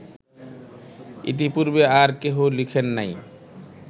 ইতিপূর্বে আর কেহ লিখেন নাই